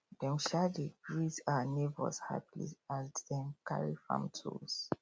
dem um dey greet um neighbours happily as dem carry farm tools